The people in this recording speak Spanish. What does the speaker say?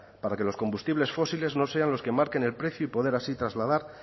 para que los combustibles fósiles no sean los que marquen el precio y poder así trasladar